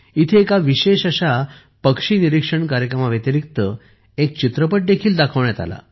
इथे एका विशेष अशा पक्षी निरीक्षण कार्यक्रमा व्यतिरिक्त एक चित्रपटही दाखवण्यात आला